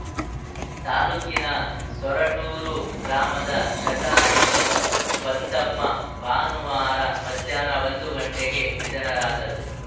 ತಾಲೂಕಿನ ಸೊರಟೂರು ಗ್ರಾಮದ ಶತಾಯುಷಿ ಬಂದಮ್ಮಭಾನುವಾರ ಮಧ್ಯಾಹ್ನ ಒಂದು ಗಂಟೆಗೆ ನಿಧನರಾದರು